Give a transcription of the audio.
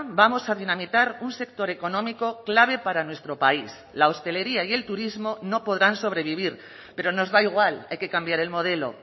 vamos a dinamitar un sector económico clave para nuestro país la hostelería y el turismo no podrán sobrevivir pero nos da igual hay que cambiar el modelo